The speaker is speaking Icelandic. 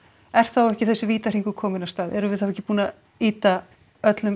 er þá ekki þessi vítahringur kominn af stað erum við þá ekki búin að ýta öllum